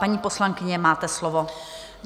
Paní poslankyně, máte slovo.